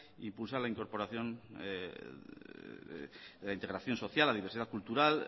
impulsar la incorporación la integración social la diversidad cultural